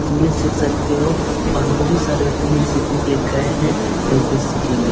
English सिख सकते हो और बहुत सारे व्यक्ति इंग्लिश सीखने के लिए गये है और कोई सीखेंगे।